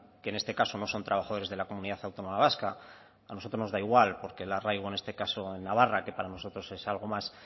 que en este caso no son trabajadores de la comunidad autónoma vasca a nosotros nos da igual porque el arraigo en este caso en navarra que para nosotros es algo más